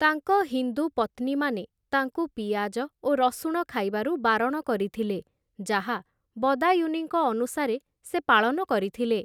ତାଙ୍କ ହିନ୍ଦୁ ପତ୍ନୀମାନେ ତାଙ୍କୁ ପିଆଜ ଓ ରସୁଣ ଖାଇବାରୁ ବାରଣ କରିଥିଲେ, ଯାହା ବଦାୟୂନୀଙ୍କ ଅନୁସାରେ ସେ ପାଳନ କରିଥିଲେ ।